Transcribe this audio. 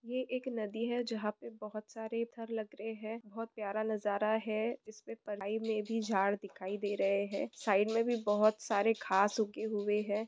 यह एक नदी है जहां पे बोहोत सारे लग रहे है बोहोत प्यारा नाजारा है जिसमे मे भी झाड़ दिखाई दे रेहे है। साईड मे भी बोहोत सारे घास उगे हुए है।